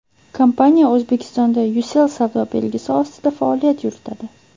Kompaniya O‘zbekistonda Ucell savdo belgisi ostida faoliyat yuritadi.